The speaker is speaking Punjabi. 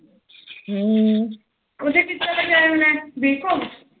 ਹਮ ਉਹਦਾ ਕਿੱਦਾ ਦਾ ਟਾਇਮ ਲਾਇਨ b com